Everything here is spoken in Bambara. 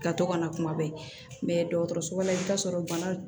Ka to ka na kuma bɛɛ dɔgɔtɔrɔso la i bɛ taa sɔrɔ bana